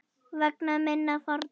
Og vegna minna fórna.